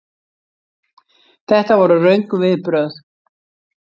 Þetta voru röng viðbrögð.